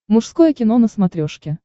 мужское кино на смотрешке